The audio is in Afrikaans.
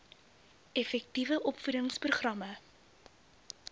effektiewe opvoedings programme